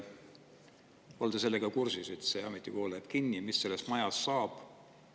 Kas olete kursis, et see ametikool läheb kinni ja mis sellest majast saab?